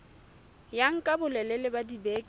ya nka bolelele ba dibeke